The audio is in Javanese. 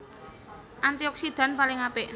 Antioksidan paling apik